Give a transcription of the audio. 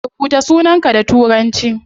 Rubuta sunanka da turanci